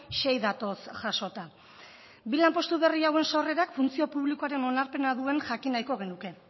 sei datoz jasota bi lanpostu berri hauen sorrerak funtzio publikoaren onarpena duen jakin nahiko genuke